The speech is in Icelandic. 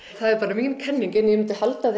það er bara mín kenning en ég myndi halda